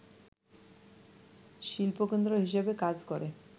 শিল্পকেন্দ্র হিসেবে কাজ করে